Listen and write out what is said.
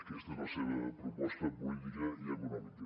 aquesta és la seva proposta política i econòmica